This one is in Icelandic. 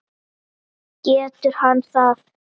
Getur hann það?